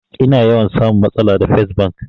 Ina yawan samun matsala da fes bank